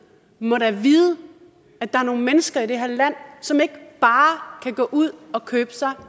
må da vide at der er nogle mennesker i det her land som ikke bare kan gå ud og købe sig